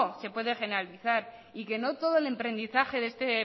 se puede generalizar y que no todo el emprendizaje de este